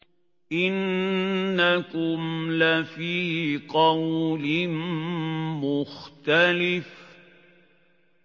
إِنَّكُمْ لَفِي قَوْلٍ مُّخْتَلِفٍ